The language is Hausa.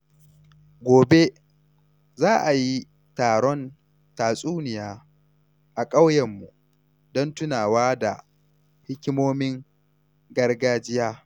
Gobe, za a yi taron tatsuniya a ƙauyenmu don tunawa da hikimomin gargajiya.